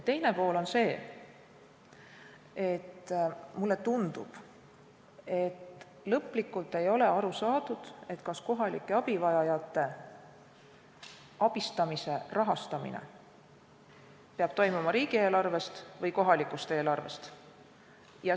Teine pool on see, et lõplikult ei ole aru saadud, kas kohalike abivajajate abistamise rahastamine peab toimuma riigieelarvest või kohalikust eelarvest.